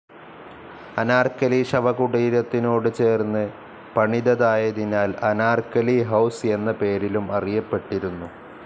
അനാർക്കലി ശവകുടീരത്തിനോട് ചേർന്ന് പണിതതായതിനാൽ അനാർക്കലി ഹൌസ്‌ എന്ന പേരിലും അറിയപ്പെട്ടിരുന്നു.